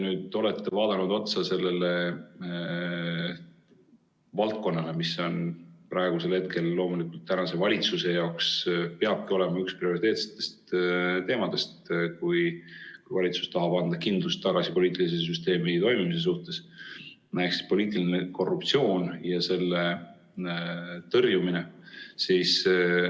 Te olete nüüd vaadanud otsa sellele valdkonnale, mis on praegusel hetkel ja mis loomulikult peabki olema tänase valitsuse jaoks üks prioriteetsetest teemadest, kui valitsus tahab taastada kindluse poliitilise süsteemi toimimise suhtes – see on poliitiline korruptsioon ja selle tõrjumine.